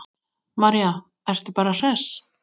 María: Ertu bara hress?